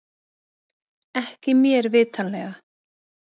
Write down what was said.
Ekki mér vitanlega